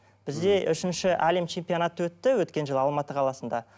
бізде үшінші әлем чемпионаты өтті өткен жылы алматы қаласында